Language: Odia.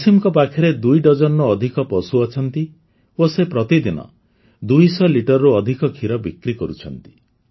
ୱସିମଙ୍କ ପାଖରେ ଦୁଇ ଡଜନରୁ ଅଧିକ ପଶୁ ଅଛନ୍ତି ଓ ସେ ପ୍ରତିଦିନ ଦୁଇ ଶହ ଲିଟରରୁ ଅଧିକ ଖିର ବିକ୍ରି କରୁଛନ୍ତି